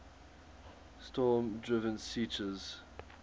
storm driven seiches